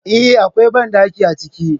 Eh, Akwai banɗaki a ciki